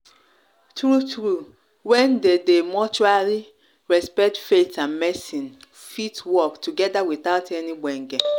true-true when there dey mutually respect faith and medicine fit work together without any gbege.